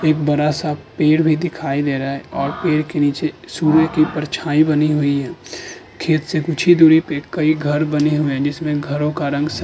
एक बड़ा सा पेड़ भी दिखाई दे रहा है और पेड़ के नीचे सूर्य की परछाई भी बनी हुई है। खेत से कुछ ही दूरी पे कई घर बने हुए हैं जिसमें घरों का रंग सफ --